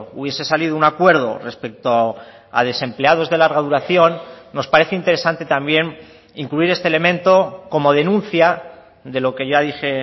hubiese salido un acuerdo respecto a desempleados de larga duración nos parece interesante también incluir este elemento como denuncia de lo que ya dije